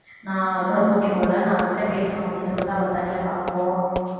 நான் அவகூட போட்டி போடல நான் அவகிட்ட பேசணும் அப்படின்னு சொல்லிட்டு அவள தனியா பாக்கபோவான்